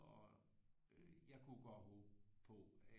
Og øh jeg kunne godt håbe på at